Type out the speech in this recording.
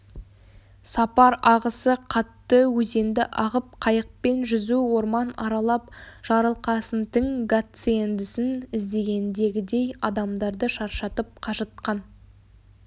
сапар ағысы қатты өзенді ағып қайықпен жүзу орман аралап жарылқасынтің гациендісін іздегендегідей адамдарды шаршатып қажытқан